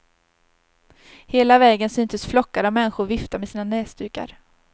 Hela vägen syntes flockar av människor vifta med sina näsdukar.